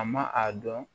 A ma a dɔn